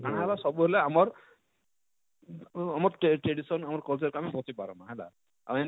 କାଣା ହେବା ସବୁ ବେଳେ ଆମର ଆଁ ଆମର tradi tradition ଆମର culture କେ ଆମେ ବଞ୍ଚେଇ ପାରମା ହେଲା ଆଉ ଏନତା,